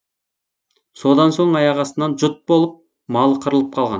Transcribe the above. содан соң аяқастынан жұт болып малы қырылып қалған